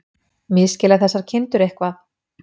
Misskilja þessar kindur eitthvað?